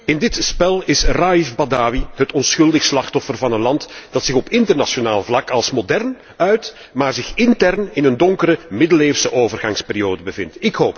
In dit spel is Raïf Badawi het onschuldige slachtoffer van een land dat zich op internationaal vlak als modern uit, maar zich intern in een donkere, middeleeuwse overgangsperiode bevindt.